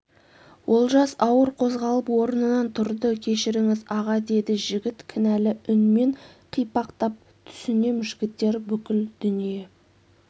олжас ауыр қозғалып орнынан тұрды кешіріңіз аға деді жігіт кінәлі үнмен қипақтап түсінем жігіттер бүкіл дүние